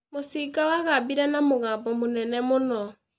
Mũcinga wagambire na mũgambo mũnene mũno